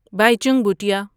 Bhaichung Bhutia